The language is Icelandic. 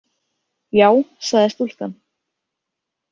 Já, sagði stúlkan.